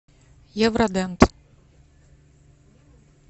евродент